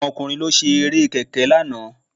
Àwọn ọkùnrin ló ṣe Eré kẹ̀kẹ́ lánàá